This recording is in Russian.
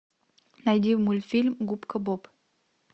найди мультфильм губка боб